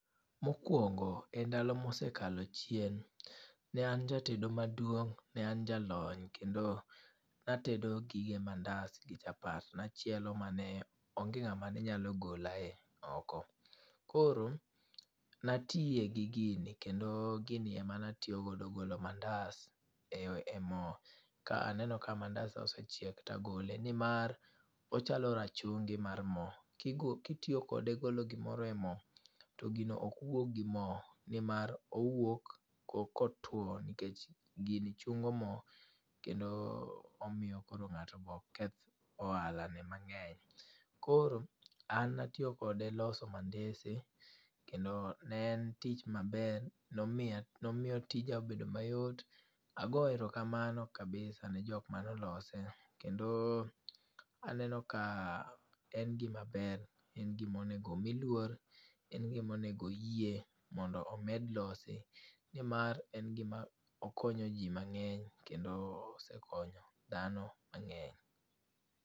Mokwongo e ndalo ma osekalo achien, ne an jatedo maduong', ne an jalony, kendo natedo gige mandas gi chapat. Ne achielo mane onge ngáma ne nyalo gola e oko. Koro natie gi gini, kendo gini ema ne atiyogodo golo mandas e e mo. Ka aneno ka mandas osechiek to agole, ni mar, ochalo rachungi mar mo. Kitiyo kode golo gimore e mo, to gimo ok wuog gi mo. Ni mar owuok ko kotuo, nikech gini chungo mo kendo omiyo koro ngáto be ok keth ohala ne mangény. Koro an natiyo kode e loso mandese, kendo ne en tich maber, nomiya, nomiyo tija obedo mayot. Agoyo erokamano kabisa ne jok mane olose. Kendo aneno ka en gima ber, en gima onego omi luor. En gima onego oyie mondo omed losi, ni mar en gima okonyo ji mangény, kendo osekonyo dhano mangény.